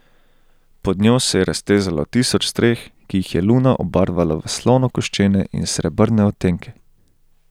Pod njo se je raztezalo tisoč streh, ki jih je luna obarvala v slonokoščene in srebrne odtenke.